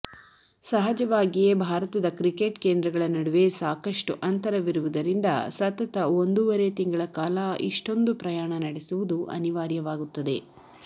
ಸಹಜವಾಗಿಯೇ ಭಾರತದ ಕ್ರಿಕೆಟ್ ಕೇಂದ್ರಗಳ ನಡುವೆ ಸಾಕಷ್ಟು ಅಂತರವಿರುವುದರಿಂದ ಸತತ ಒಂದೂವರೆ ತಿಂಗಳ ಕಾಲ ಇಷ್ಟೊಂದು ಪ್ರಯಾಣ ನಡೆಸುವುದು ಅನಿವಾರ್ಯವಾಗುತ್ತದೆ